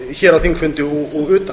hér á þingfundi og utan